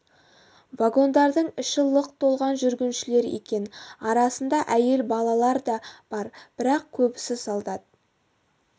вагондардың іші лық толған жүргіншілер екен арасында әйел балалар да бар бірақ көбісі солдат